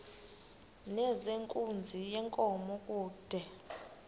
nezenkunzi yenkomo kude